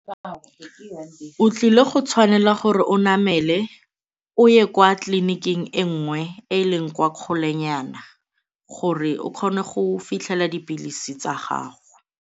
O tlile go tshwanela gore o namele o ye kwa tleliniking e nngwe e e leng kwa kgolenyana gore o kgone go fitlhela dipilisi tsa gago.